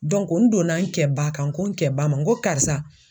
n donna n kɛ ba kan n ko n kɛ ba ma n ko karisa